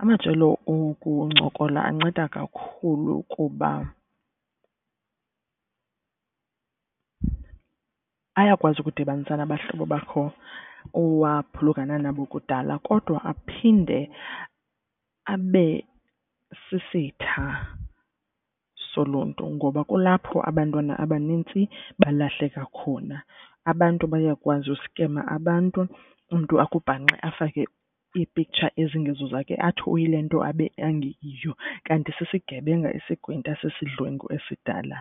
Amajelo okuncokola anceda kakhulu kuba ayakwazi ukudibanisa nabahlobo bakho owaphulukana nabo kudala kodwa aphinde abe sisitha soluntu ngoba kulapho abantwana abanintsi balahleka khona. Abantu bayakwazi uskema abantu umntu akubhanxe afake iipiktsha ezingezo zakhe athi uyile nto abe engeyiyo. Kanti sesigebenga isigwinta sesidlwengu esidala